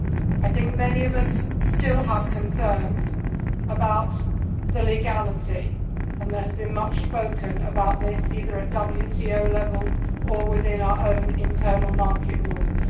I think many of us still have concerns about the legality and there has been much spoken about this either at WTO level or within our own internal market rules.